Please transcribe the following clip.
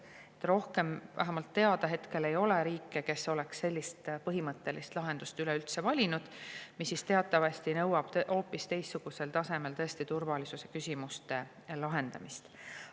Vähemalt rohkem ei ole hetkel teada riike, kes oleks valinud sellise põhimõttelise lahenduse, mis teatavasti nõuab hoopis teistsugusel tasemel turvalisuse küsimuste lahendamist.